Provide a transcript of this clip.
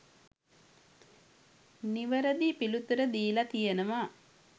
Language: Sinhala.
නිවරදි පිළිතුර දීලා තියෙනවා.